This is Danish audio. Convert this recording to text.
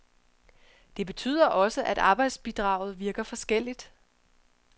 Det betyder også, at arbejdsmarkedsbidraget virker forskelligt.